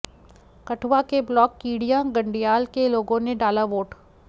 कठुआ के ब्लाक कीडिय़ां गंडियाल के लोगों ने डाला वोट